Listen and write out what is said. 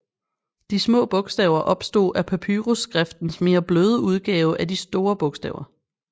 De små bogstaver opstod af papyrusskriftens mere bløde udgave af de store bogstaver